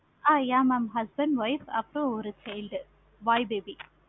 ஆஹ் yeah mam husband, wife அப்பறம் ஒரு child, boy baby